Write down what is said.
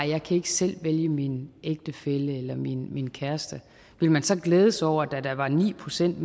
jeg kan ikke selv vælge min ægtefælle eller min min kæreste ville man så glæde sig over at der var ni procent